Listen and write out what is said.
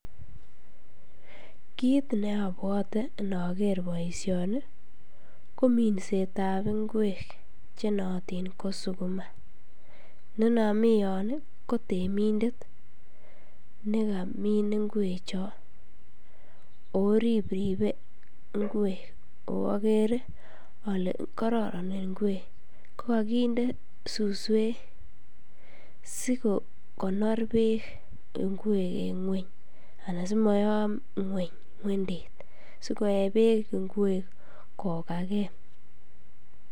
Kit neabwote inoker boisioni kominsetab ngwek chenootin ko sukukma, inonomiyon kotemindet nekamin ngwechon oripripe ngwek oo akere ale kororon ngwek kokokinde suswek sikokonor beek ngwek en ng'weny ana simoyom ng'weny ng'wendet sikoe beek ngwek kokake.